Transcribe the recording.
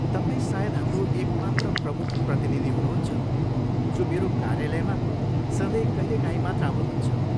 तपाईँ सायद हाम्रो एक मात्र प्रमुख प्रतिनिधि हुनुहुन्छ जो मेरो कार्यालयमा सधैँ कहिलेकाहीँ मात्र आउनुहुन्छ।